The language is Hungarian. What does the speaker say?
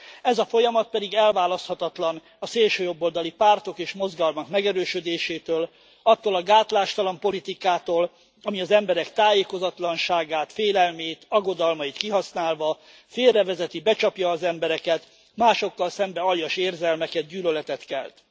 Ez a folyamat pedig elválaszthatatlan a szélsőjobboldali pártok és mozgalmak megerősödésétől, attól a gátlástalan politikától, ami az emberek tájékozatlanságát, félelmét, aggodalmait kihasználva félrevezeti, becsapja az embereket, másokkal szemben aljas érzelmeket, gyűlöletet kelt.